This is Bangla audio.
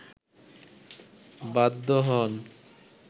বাধ্য হন